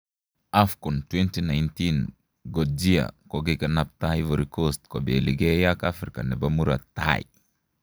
AFCON2019: Kodjia kogiganapta Ivory Coast kobeligee ak Africa nebo murot tai